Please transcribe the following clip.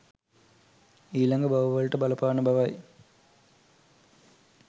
ඊළඟ භව වලට බලපාන බව යි